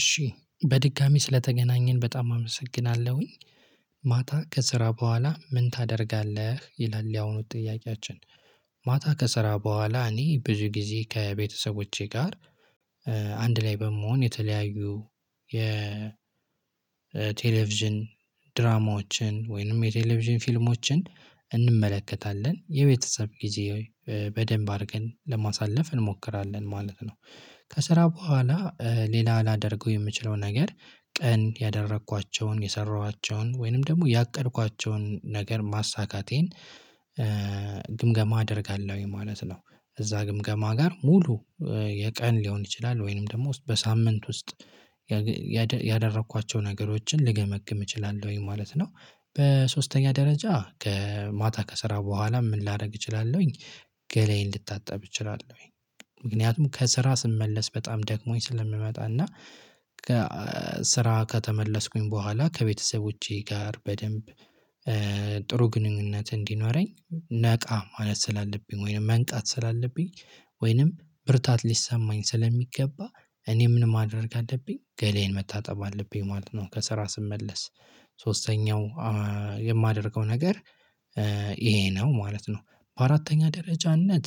እሺ በድጋሚ ስለተገናኘን በጣም አመሰግናለሁኝ። ማታ ከስራ በኋላ ምን ታደርጋለህ ይላል? ያሁኑ ጥያቄያችን ማታ ከስራ በኋላ እኔ ብዙ ጊዜ ከቤተሰቦቼ ጋር አንድ ላይ በመሆን የተለያዩ የቴሌቪዥን ድራማዎችን ወይንም የቴሌቪዥን ፊልሞችን እንመለከታለን የቤተሰብ ጊዜ በደንብ አድርገን ለማሳለፍ እንሞክራለን ማለት ነው። ከስራ በኋላ ሌላ ላደርገው የምችለው ነገር ቀን ያደረኳቸውን የሰራኋቸውን ወይንም ደግሞ ያቀድኳቸውን ነገር ማሳካቴን ግምገማ አደርጋለሁኝ ማለት ነው። እዛ ግምገማ ጋር ሙሉ የቀን ሊሆን ይችላል ወይንም ደግሞ በሳምንት ውስጥ ያደረኳቸውን ነገሮችን ልገመግም እችላለሁኝ ማለት ነው። በሶስተኛ ደረጃ ከማታ ከስራ በኋላ ምን ላደርግ እችላለሁኝ? ገላዬን ልታጠብ እችላለሁኝ። ምክንያቱም ከስራ ስመለስ በጣም ደግሞኝ ስለምመጣና ስራ ከተመለስኩኝ በኋላ ከቤተሰቦቼ ጋር በደንብ ጥሩ ግንኙነት እንዲኖረኝ ነቃ ማለት ስላለብኝ ወይንም መንቃት ስላለብኝ ወይንም ብርታት ሊሰማኝ ስለሚገባ እኔ ምን ማድረግ አለብኝ ገላዬን መታጠብ አለብኝ ማለት ነው። ከስራ ስመለስ ሶስተኛው የማደርገው ነገር ይሄ ነው ማለት ነው። በአራተኛ ደረጃነት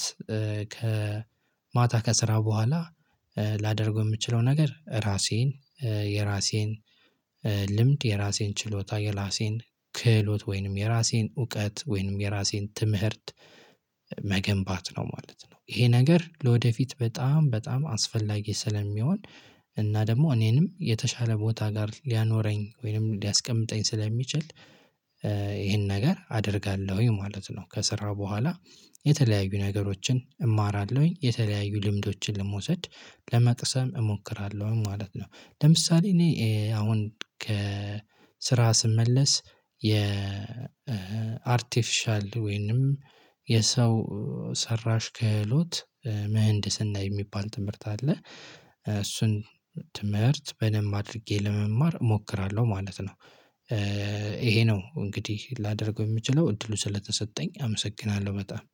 ከማታ ከስራ በኋላ ላደርገው የምችለው ነገር ራሴን የራሴን ልምድ የራሴን ችሎታ የራሴን ክህሎት ወይንም የራሴን እውቀት ወይንም የራሴን ትምህርት መገንባት ነው ማለት ነው። ይሄ ነገር ለወደፊት በጣም በጣም አስፈላጊ ስለሚሆን እና ደግሞ እኔንም የተሻለ ቦታ ጋር ሊያኖረኝ ወይንም ሊያስቀምጠኝ ስለሚችል ይሄን ነገር አደርጋለሁኝ ማለት ነው። ከስራ በኋላ የተለያዩ ነገሮችን እማራለሁኝ የተለያዩ ልምዶችን ለመውሰድ ለመቅሰም እሞክራለሁኝ ማለት ነው። ለምሳሌ እኔ አሁን ከስራ ስመለስ የአርቴፊሻል ወይንም የሰው ሰራሽ ክህሎት ምህንድስና የሚባል ትምህርት አለ። እሱን ትምህርት በደንብ አድርጌ ለመማር እሞክራለሁ ማለት ነው። ይሄ ነው እንግዲህ ላደርገው የምችለው እድሉ ስለተሰጠኝ አመሰግናለሁ በጣም